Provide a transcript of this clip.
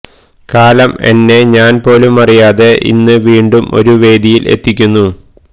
കാലം എന്നെ ഞാൻ പോലും അറിയാതെ ഇന്ന് വീണ്ടും ഒരു വേദിയിൽ എത്തിക്കുന്നു